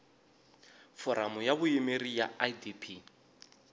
foramu ya vuyimeri ya idp